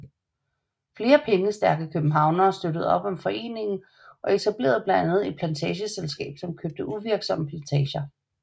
Flere pengestærke københavnere støttede op om foreningen og etablerede blandt andet et plantageselskab som købte uvirksomme plantager